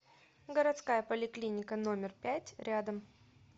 городская поликлиника номер пять рядом